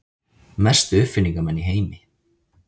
Mestu uppfinningamenn í heimi.